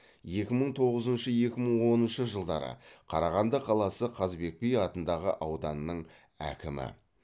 екі мың тоғызыншы екі мың оныншы жылдары қарағанды қаласы қазыбек би атындағы ауданның әкімі